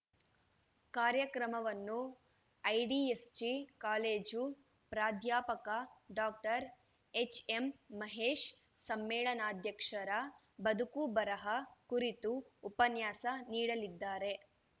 ಕಾರ್ಯಕ್ರಮವನ್ನು IDSG college ಪ್ರಾಧ್ಯಾಪಕ doctor HM Mahesh ಸಮ್ಮೇಳನಾಧ್ಯಕ್ಷರ ಬದುಕುಬರಹ ಕುರಿತು ಉಪನ್ಯಾಸ ನೀಡಲಿದ್ದಾರೆ